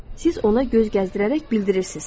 Siz ona göz gəzdirərək bildirirsiniz.